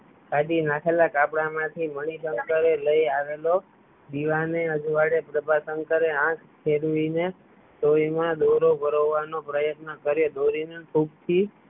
કાઢી નાખેલ ગાબડાં માંથી મણિશંકરએ bg voice લય આવેલો દીવા ના અજવાળે પ્રભાશંકરે આંખ ફેરવી ને સોય મા દોરો ભરાવવાનો પ્રયત્ન કર્યો દોરી ને થૂંક થી